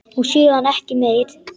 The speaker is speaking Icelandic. Og síðan ekki meir?